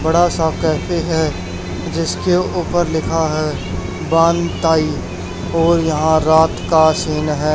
बड़ा सा कैफे है जिसके ऊपर लिखा है वान ताई और यहां रात का सीन है।